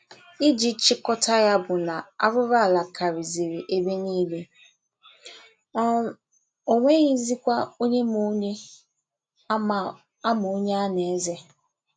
Iji chịkọta ya bụ na arụrụala karịzịrị ebe niile, um o nweghizikwa onye ma onye a ma onye a na-eze.